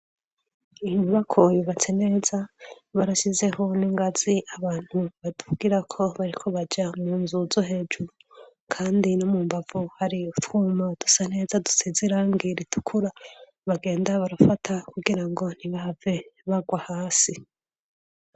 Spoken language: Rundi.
Inyubako yubatse neza barashyizeho n'ingazi abantu badugirako bariko baja mu nzu zo hejuru. Kandi no mu mbavu hari utwuma dusa neza dusize irangi ritukura bagenda barafata kugira ngo ntibahave bagwa hasi.